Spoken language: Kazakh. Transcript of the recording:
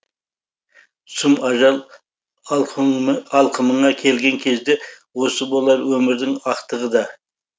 сұм ажал алқымыңа келген кезде осы болар өмірдің ақтығы да